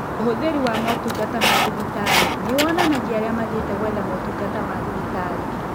Ũhũthĩri wa motungata ma thibitarĩ nĩyonanagia arĩa mathiĩte gwetha motungata ma thibitarĩ